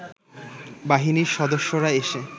বাহিনীর সদস্যরা এসে